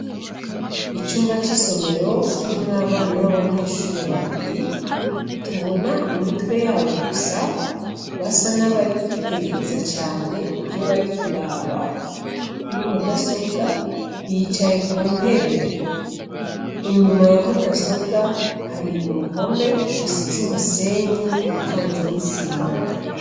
Icumba c'isomero, kirimwo abana b'abanyeshure babiri tubona imitwe yabo gusa , basa n'abari kwitegereza cane ivyo bari kuraba kuri mudasobwa, yicaye ku ntebe. Inymba ya mudasobwa, hari uruhome rusize umusenyi ucanze n'isima.